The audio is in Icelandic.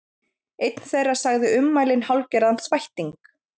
Einn þeirra sagði ummælin hálfgerðan þvætting